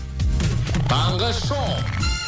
таңғы шоу